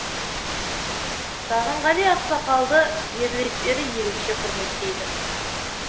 сағынғали ақсақалды жерлестері ерекше құрметтейді